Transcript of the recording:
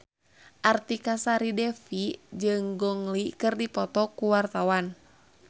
Artika Sari Devi jeung Gong Li keur dipoto ku wartawan